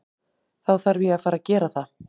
Þá þarf ég að fara gera það.